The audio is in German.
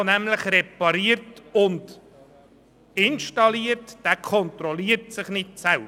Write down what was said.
Derjenige, der repariert und installiert, kontrolliert sich nicht selber.